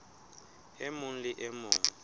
e mong le e mong